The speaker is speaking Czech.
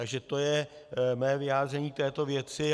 Takže to je mé vyjádření k této věci.